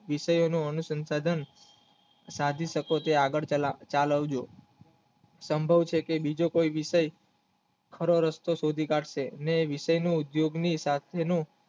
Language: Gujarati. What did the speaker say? વિષયોને એનું સંસાન સાધી શકો છો આગળ પેલા તળાવજો સંભવ છે કે બીજો કપય વિષય ખારો રસ્તો શોધી કાઢશે ને વિષયની ઉદ્યોગમિ તશમીનું